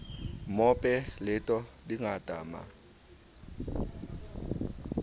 mope leto di ngata ma